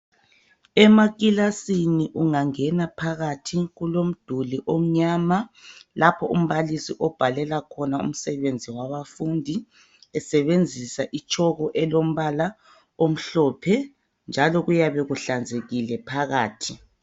Emakilasini ungangena phakathi kulomduli omnyama lapho umbalisi obhalela khona umsebenzi wabafundi esebenzisa ichalk elombala omhlophe njalo kuyabe kuhlanzekile phakathi.